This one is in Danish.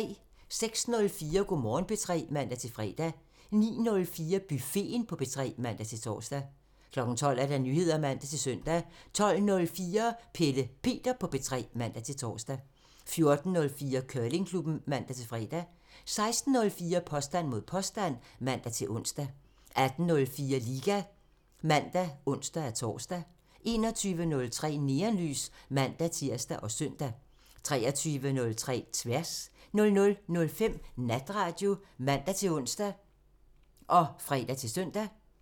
06:04: Go' Morgen P3 (man-fre) 09:04: Buffeten på P3 (man-tor) 12:00: Nyheder (man-søn) 12:04: Pelle Peter på P3 (man-tor) 14:04: Curlingklubben (man-fre) 16:04: Påstand mod påstand (man-ons) 18:04: Liga (man og ons-tor) 21:03: Neonlys (man-tir og søn) 23:03: Tværs (man) 00:05: Natradio (man-ons og fre-søn)